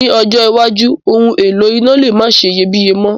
Ní ọjọ́ iwájú, oun èlò iná le ma seyebíye mo